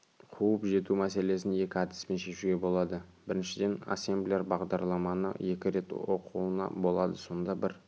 қуып жету мәселесін екі әдіспен шешуге болады біріншіден ассемблер бағдарламаны екі рет оқуына болады сонда бір